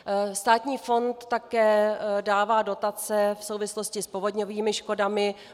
Státní fond také dává dotace v souvislosti s povodňovými škodami.